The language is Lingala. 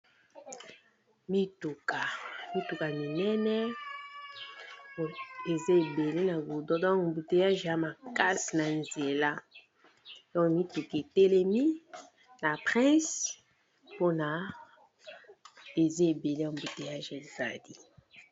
Mituka, mituka minene eza ebele na gudron donc embouteillage ea makasi na nzela a mituka telemi na prince mpona eza ebele ambouteillage ezali.